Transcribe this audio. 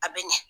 A bɛ ɲɛ